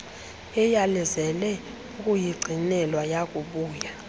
eyalezele ukuyigcinelwa yakubuya